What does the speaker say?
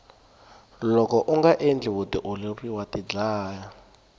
loko unga endli vutiolori wa tidlaya